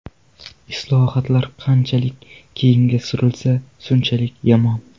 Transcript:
Islohotlar qanchalik keyinga surilsa, shunchalik yomon.